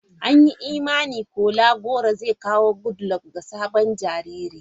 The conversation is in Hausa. An yi imanin Kola goro zai kawo Goodluck ga sabon jariri.